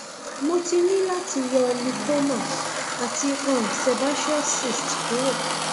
mo ti ní láti yọ lipoma àti um sebaceous cyst kúrò